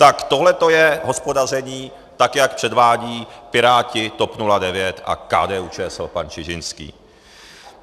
Tak tohleto je hospodaření, tak jak předvádí Piráti, TOP 09 a KDU-ČSL, pan Čižinský.